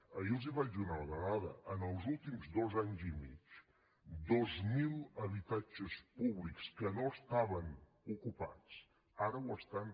ahir els vaig donar una dada en els últims dos anys i mig dos mil habitatges públics que no estaven ocupats ara ho estan